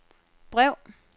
brev